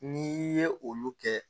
N'i ye olu kɛ